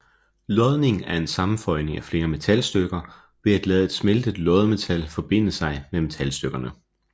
Lodning er en sammenføjning af flere metalstykker ved at lade et smeltet loddemetal forbinde sig med metalstykkerne